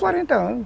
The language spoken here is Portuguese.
quarenta anos.